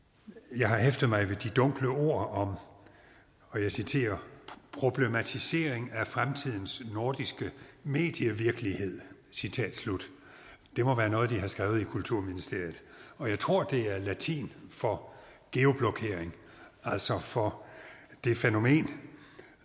jeg har hæftet mig ved de dunkle ord om og jeg citerer problematisering af fremtidens nordiske medievirkelighed citat slut det må være noget de har skrevet i kulturministeriet og jeg tror at det er latin for geoblokering altså for det fænomen